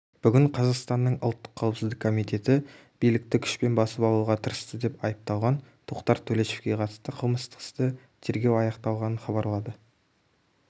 бүгін қазақстанның ұлттық қауіпсіздік комитеті билікті күшпен басып алуға тырысты деп айыпталған тоқтар төлешовке қатысты қылмыстық істі тергеу аяқталғанын хабарлады